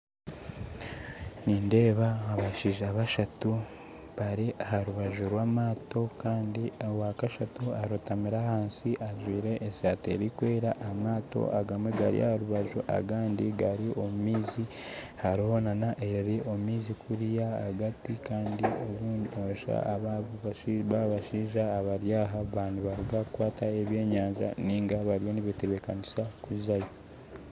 Nindeeba abashaija bashatu bari aha rubaju rwamaato owakashatu arotamire ahandi ajwaire eshati erikwera, amaato agamwe gari aha rubaju, agandi gari omu maizi, kuriya ahagati, kandi abashaija abari aha baba nibaruga kukwata ebyenyaja ninga bariyo nibetebekanisa kuzayo.